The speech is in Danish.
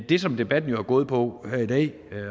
det som debatten jo har gået på her i dag